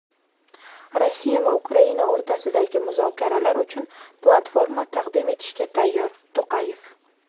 Rossiya va Ukraina o‘rtasidagi muzokaralar uchun platforma taqdim etishga tayyor – To‘qayev.